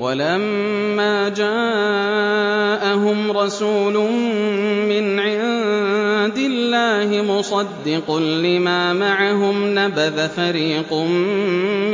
وَلَمَّا جَاءَهُمْ رَسُولٌ مِّنْ عِندِ اللَّهِ مُصَدِّقٌ لِّمَا مَعَهُمْ نَبَذَ فَرِيقٌ